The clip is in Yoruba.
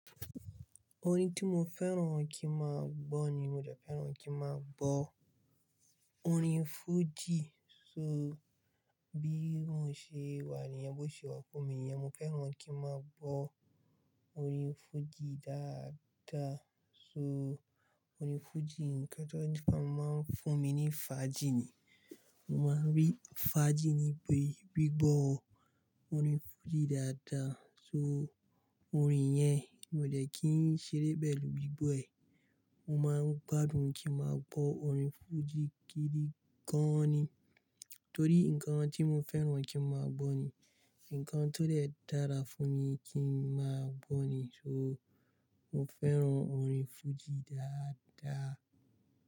Orin tí mo fẹ́ràn kí n máa gbọ́ ni mo jẹ́ fẹ́ràn kí n máa gbọ́ orin fújì. So bí mo ṣe wà ní'yẹn, bó ṣe wà fún mi ní'yẹn, mo fẹ́ràn kí n máa gbọ́ orin fújì dáadáa. So orin fújì ń kí lóde máa ń fún mi ní fàájì ni. Mo máa rí fàájì níbi gbígbọ́ orin fújì dáadáa. So orin yẹn mo jẹ́ kí n ṣeré pẹ́ẹ̀lù gbígbọ́ ẹ̀. Mo máa ń gbádùn kí n máa gbọ́ orin fújì gidi gan-an ni. Torí ǹkan tí mo fẹ́ràn kí n máa gbọ́ ni, ǹkan tó lè dára fún mi kí n máa gbọ́ ni. So mo fẹ́ràn orin fújì dáadáa.